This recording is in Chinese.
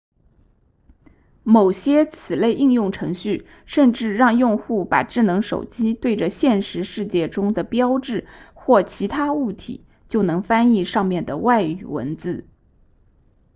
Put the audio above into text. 某些此类应用程序甚至让用户把智能手机对着现实世界中的标志或其他物体就能翻译上面的外语文字